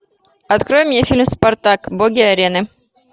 открой мне фильм спартак боги арены